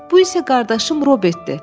Bu isə qardaşım Robertdir,